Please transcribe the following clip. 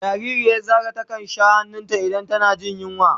Jariri ya Zara ta kan sha han'nun ta in tana jin yunwa.